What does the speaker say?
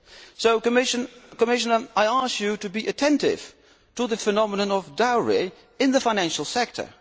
So, Commissioner, I ask you to be attentive to the phenomenon of dowry in the financial sector.